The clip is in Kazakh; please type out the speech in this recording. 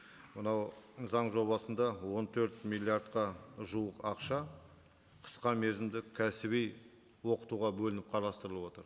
мынау заң жобасында он төрт миллиардқа жуық ақша қысқа мерзімді кәсіби оқытуға бөлініп қарастырылып отыр